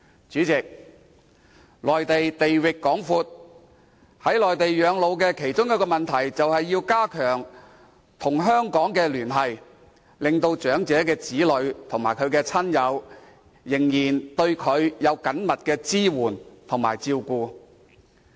主席，內地地域廣闊，在內地養老其中一個問題，便是如何加強與香港的聯繫，令長者與子女及親友仍緊密聯繫，並得到支援和照顧。